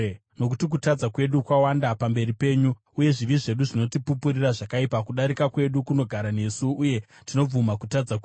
Nokuti kutadza kwedu kwawanda pamberi penyu, uye zvivi zvedu zvinotipupurira zvakaipa. Kudarika kwedu kunogara nesu, uye tinobvuma kutadza kwedu: